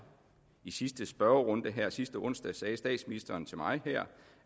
i sidste spørgerunde her sidste onsdag sagde statsministeren til mig